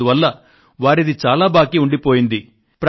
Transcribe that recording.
అందువల్ల వారిది చాలా బాకీ ఉండిపోయేది